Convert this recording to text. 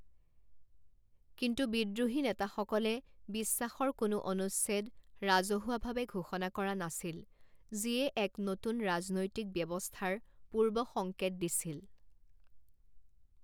কিন্তু বিদ্ৰোহী নেতাসকলে বিশ্বাসৰ কোনো অনুচ্ছেদ ৰাজহুৱাভাৱে ঘোষণা কৰা নাছিল যিয়ে এক নতুন ৰাজনৈতিক ব্যৱস্থাৰ পূৰ্বসংকেত দিছিল।